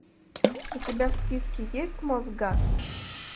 у тебя в списке есть мосгаз